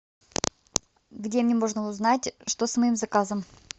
где мне можно узнать что с моим заказом